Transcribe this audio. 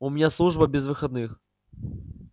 у меня служба без выходных